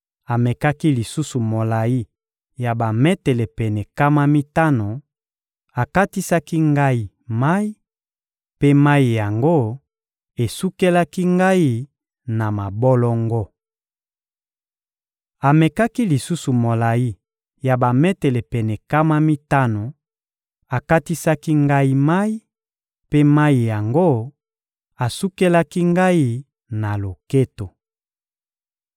Amekaki lisusu molayi ya bametele pene nkama mitano, akatisaki ngai mayi, mpe mayi yango esukelaki ngai na mabolongo. Amekaki lisusu molayi ya bametele pene nkama mitano, akatisaki ngai mayi, mpe mayi yango asukelaki ngai na loketo.